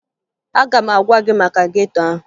Aga m agwa gị maka geto ahụ